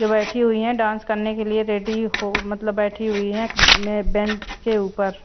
जो बैठी हुई है डांस करने के लिए रेडी हो मतलब बैठी हुई है बेंच के ऊपर।